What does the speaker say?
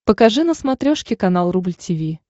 покажи на смотрешке канал рубль ти ви